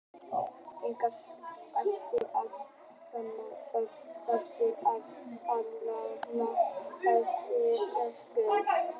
Engin hætta er á því að sáðfrumur heilbrigðra kynþroska karlmanna hverfi vegna sjálfsfróunar.